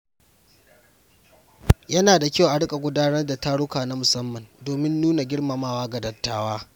Yana da kyau a riƙa gudanar da taruka na musamman domin nuna girmamawa ga dattawa.